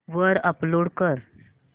वर अपलोड कर